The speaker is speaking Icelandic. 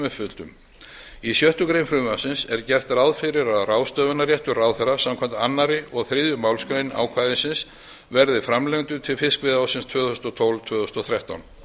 uppfylltum í sjöttu greinar frumvarpsins er gert ráð fyrir að ráðstöfunarréttur ráðherra samkvæmt öðrum og þriðju málsgrein ákvæðisins verði framlengdur til fiskveiðiársins tvö þúsund og tólf til tvö þúsund og þrettán